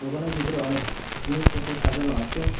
দোকানের ভিতরে অনেক জিনিসপত্র সাজানো আছে।